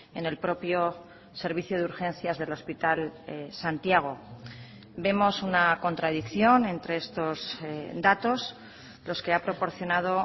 en el propio servicio de urgencias del hospital santiago vemos una contradicción entre estos datos los que ha proporcionado